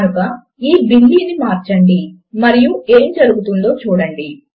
కనుక ఈ బిల్లీ ను మార్చండి మరియు ఏమి జరుగుతుందో చూడండి